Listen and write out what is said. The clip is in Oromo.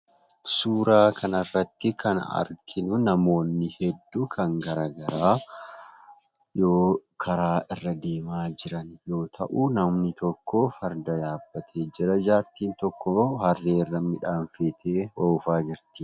Suuraa kanarrattii kan arginu, namoonni hedduu kan garaagaraa yoo karaa irra deemaa jiran yoo ta'u, namni tokkoo Farda yabbatee jira. Jaartiin tokkoo harrearra midhaan feetee oofaa jirti.